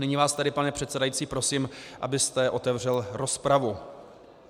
Nyní vás tedy, pane předsedající, prosím, abyste otevřel rozpravu.